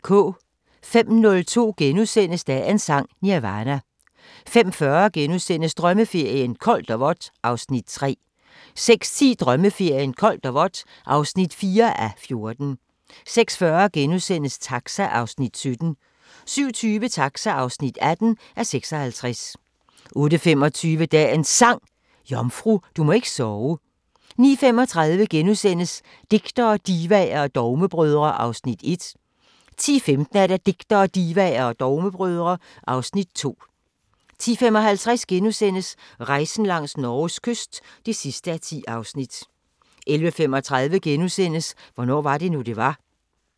05:02: Dagens Sang: Nirvana * 05:40: Drømmeferien: Koldt og vådt (3:14)* 06:10: Drømmeferien: Koldt og vådt (4:14) 06:40: Taxa (17:56)* 07:20: Taxa (18:56) 08:25: Dagens Sang: Jomfru, du må ikke sove 09:35: Digtere, divaer og dogmebrødre (Afs. 1)* 10:15: Digtere, Divaer og Dogmebrødre (Afs. 2) 10:55: Rejsen langs Norges kyst (10:10)* 11:35: Hvornår var det nu, det var? *